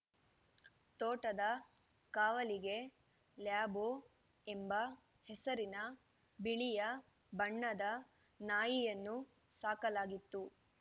ತೋಟದ ಕಾವಲಿಗೆ ಲ್ಯಾಬೋ ಎಂಬ ಹೆಸರಿನ ಬಿಳಿಯ ಬಣ್ಣದ ನಾಯಿಯನ್ನು ಸಾಕಲಾಗಿತ್ತು